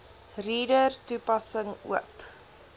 reader toepassing oop